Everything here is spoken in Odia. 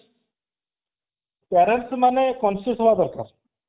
parents ମାନେ conscious ହେବା ଦରକାର